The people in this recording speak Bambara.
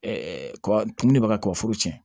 kɔ tumuni bɛ ka kɔkɔ foro tiɲɛ